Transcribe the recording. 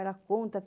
Ela conta.